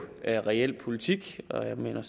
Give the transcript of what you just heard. reel politik og jeg mener